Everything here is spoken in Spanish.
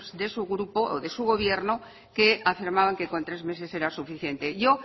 de su grupo o de su gobierno que afirmaban que con tres meses era suficiente yo